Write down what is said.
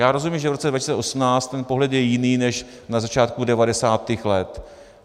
Já rozumím, že v roce 2018 ten pohled je jiný než na začátku 90. let.